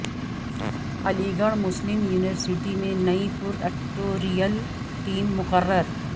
علی گڑھ Muslim university میں نئی پراکٹوریل ٹیم مقرر